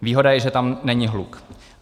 Výhoda je, že tam není hluk.